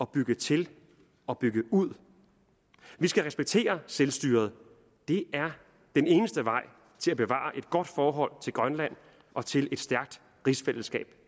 bygge til og bygge ud vi skal respektere selvstyret det er den eneste vej til at bevare et godt forhold til grønland og til et stærkt rigsfællesskab